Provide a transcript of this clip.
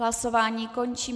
Hlasování končím.